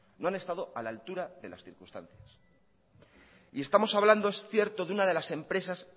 no han estado a la altura de las circunstancias y estamos hablando es cierto de una de las empresas